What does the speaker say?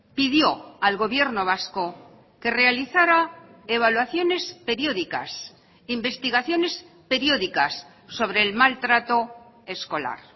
pidió al gobierno vasco que realizara evaluaciones periódicas investigaciones periódicas sobre el maltrato escolar